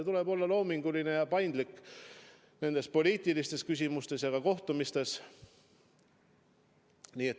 Tuleb olla loominguline ja paindlik poliitilistes küsimustes ja ka nendes kohtumistes.